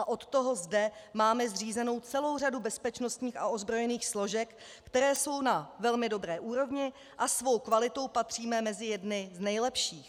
A od toho zde máme zřízenou celou řadu bezpečnostních a ozbrojených složek, které jsou na velmi dobré úrovni, a svou kvalitou patříme mezi jedny z nejlepších.